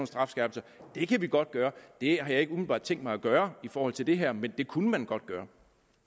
strafskærpelser kan vi godt gøre det har jeg ikke umiddelbart tænkt mig at gøre i forhold til det her men det kunne man godt gøre